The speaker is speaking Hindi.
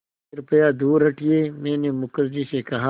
कृपया दूर हटिये मैंने मुखर्जी से कहा